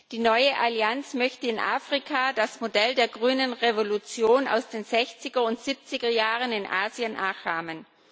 Die neue Allianz möchte in Afrika das Modell der Grünen Revolution aus den sechziger und siebziger Jahren in Asien nachahmen.